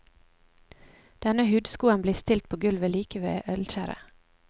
Denne hudskoen blir stilt på gulvet like ved ølkjerret.